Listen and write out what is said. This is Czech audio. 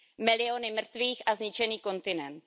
Miliony mrtvých a zničený kontinent.